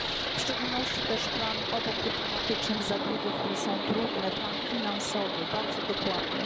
W szczególności też obok dyplomatycznych zabiegów, które są trudne plan finansowy, bardzo dokładny.